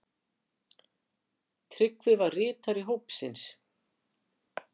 Tryggvi var ritari hópsins.